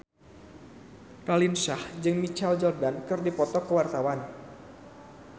Raline Shah jeung Michael Jordan keur dipoto ku wartawan